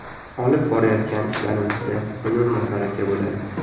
Olib borayotgan ishlarimizda unum va baraka bo‘ladi.